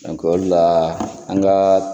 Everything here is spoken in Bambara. o de la , an ka